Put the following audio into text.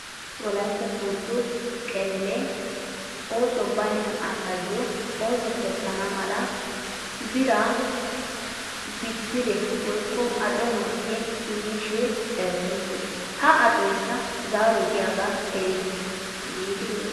wolaytta soodo qebelee oosoy baynna asaayo ooso kessana mala biraa bidire woykko acco malkke immishin eretettes. Ha accoykka zaaroy diyoogaa erite giidi yootiis.